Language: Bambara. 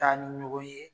Taa ni ɲɔgɔn ye